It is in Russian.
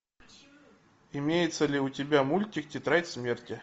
имеется ли у тебя мультик тетрадь смерти